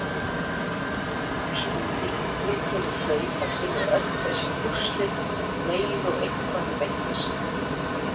Skúli yngri kemur hlaupandi með öll þessi úrslit um leið og eitthvað fréttist.